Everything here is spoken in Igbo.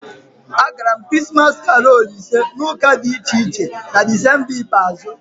Agara m Krismas karolu ise na ụka dị iche iche na Desemba ikpeazụ